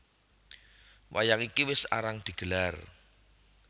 Wayang iki wis arang digelar